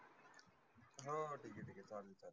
हो ठिक आहे, ठिक आहे चालेल चालेल.